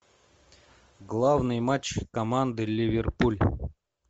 главный матч команды ливерпуль